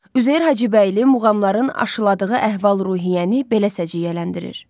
Üzeyir Hacıbəyli muğamların aşıladığı əhval-ruhiyyəni belə səciyyələndirir: